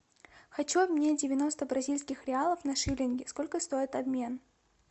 хочу обменять девяносто бразильских реалов на шиллинги сколько стоит обмен